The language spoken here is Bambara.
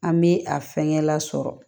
An bɛ a fɛnkɛ lasɔrɔ